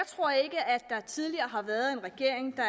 jeg tidligere har været en regering der